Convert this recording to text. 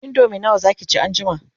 indomie nawa Zaki ci an jima?